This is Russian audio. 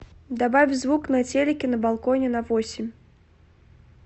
добавь звук на телике на балконе на восемь